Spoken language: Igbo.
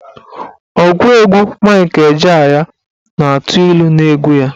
Ọgụ egwu Mike Ejeagha na-atụ ilu n'egwu ya.